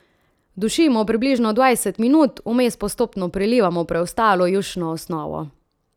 Dušimo približno dvajset minut, vmes postopno prilivamo preostalo jušno osnovo.